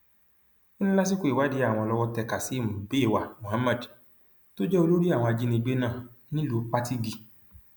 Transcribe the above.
ó ní lásìkò ìwádìí àwọn lọwọ tẹ kazeem beiwa mohammed tó jẹ olórí àwọn ajìnígbé náà nílùú patigi